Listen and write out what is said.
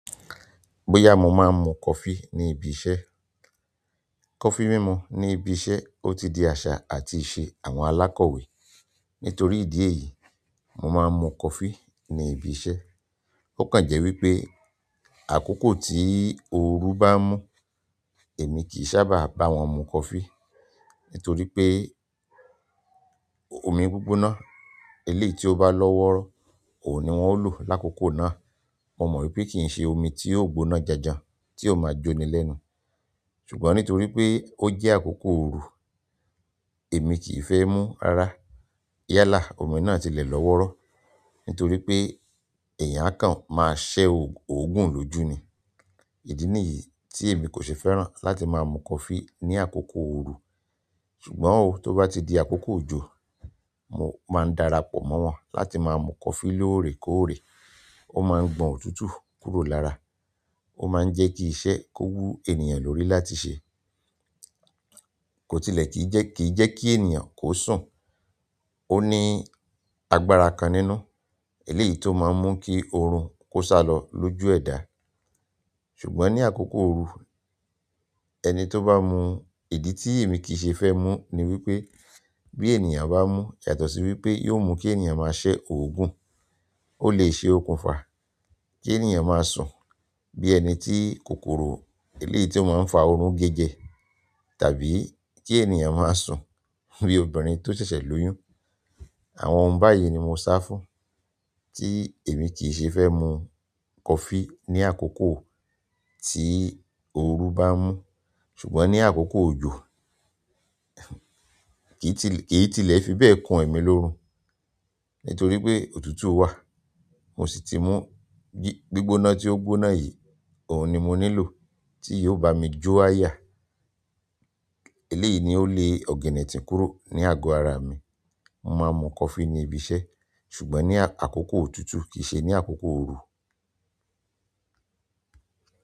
Bóyá mo máa ń mu coffee ní ibi iṣẹ́. Coffee mímú ní ibi iṣẹ́, ó ti di àṣà àti ìṣe àwọn alákọ̀wé. Nítorí ìdí èyí, mo máa ń mu coffee ní ibi iṣẹ́. Ó kàn jẹ́ wípé àkókò tí òru bá ń mú, èmi kì í sábà bá wọn mu coffee. Nítorí pé omi gbígbóná eléyìí tí ó bá lọ́ wọ́rọ́, òun ni wón ń lò lákòókò náà. Mo ma wípé ki n se omi ti o gbóná janjan ti o ma jo ni lẹ́nu. Ṣùgbọ́n nítorí pé ó jẹ́ àkókò òru, èmi kì í fẹ́ mú rara yálà omi náà tilẹ̀ lọ́ wọ́rọ́. Nítorí pé èèyàn kan máa ṣẹ́ òògùn lójú ni. Idí nìyí tí èmi kò ṣe fẹ́ràn láti máa mu coffee ní àkókò òru. Ṣùgbọ́n ó tó bá ti di àkókò òjò, mo máa ń darapọ̀ mọ́ wọn láti máa mu coffee lóòrèkóòrè. Ó máa ń gbọ̀n òtútù kúrò lára. Ó máa ń jẹ́ kí iṣẹ́ kó wú ènìyàn lórí láti ṣe. Kò tilẹ̀ kì í jẹ́ kí ènìyàn kó sùn. Ó ní agbára kan nínú eléyìí tó máa ń mú kí oorun kó sálọ lóju ẹ̀dá. Ṣùgbọ́n ní àkókò òru, ẹni tó bá mu ìdí tí èmi kì í ṣe fẹ́ mú ni wípé bí ènìyàn bá mú, yàtọ̀ sí wípé yóò mú kí ènìyàn máa ṣẹ́ òògùn. Ó lè ṣe okùnfà kí ènìyàn máa sùn bí ẹni tí kòkòrò eléyìí tó máa ń fa oorun gé jẹ. Tàbí kí ènìyàn máa sùn bí obìnrin tó ṣẹ̀ṣẹ̀ lóyún. Àwọn ohun báyìí ni mo sá fún tí èmi kì í ṣe fẹ́ mu coffee ní àkókò tí òru bá ń mú. Ṣùgbọ́n ní àkókò òjò, kì í tilẹ̀ fi bẹ́ẹ̀ kun e mi lórù. Nítorí pé òtútù wà, mo sì ti mú gbígbóná tí ó gbóná yìí, òun ni mo nílò tí yóò bá mi jó àyà. Eléyìí ni ó le ọ̀gẹ̀nẹ̀tíń kúrò ní àgọ ara mi. Mo máa ń mu coffee ní ibi iṣẹ́, ṣùgbọ́n ní àkókò òtútù kì í ṣe ní àkókò òru.